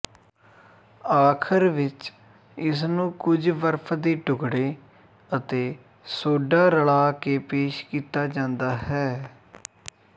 ਆਖਰ ਵਿੱਚ ਇਸਨੂੰ ਕੁਝ ਬਰਫ ਦੇ ਟੁਕੜੇ ਅਤੇ ਸੋਡਾ ਰਲਾ ਕੇ ਪੇਸ਼ ਕੀਤਾ ਜਾਂਦਾ ਹੈ